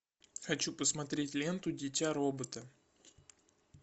хочу посмотреть ленту дитя робота